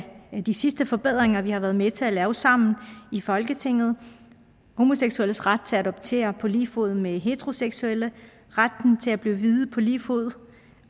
de sidste forbedringer vi har været med til at lave sammen i folketinget homoseksuelles ret til at adoptere på lige fod med heteroseksuelle retten til at blive viet på lige fod